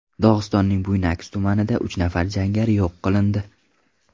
Dog‘istonning Buynaksk tumanida uch nafar jangari yo‘q qilindi.